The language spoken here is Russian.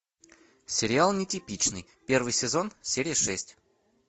сериал нетипичный первый сезон серия шесть